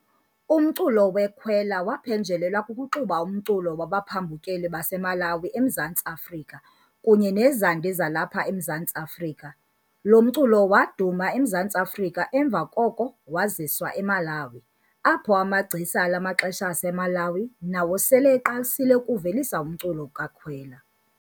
Umculo weKwela waphenjelelwa kukuxuba umculo wabaphambukeli baseMalawi eMzantsi Afrika, kunye nezandi zalapha eMzantsi Afrika. Lo mculo waduma eMzantsi Afrika emva koko waziswa eMalawi, apho amagcisa ala maxesha aseMalawi nawo sele eqalisile ukuvelisa umculo kaKhwela.